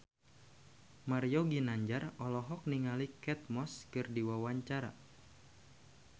Mario Ginanjar olohok ningali Kate Moss keur diwawancara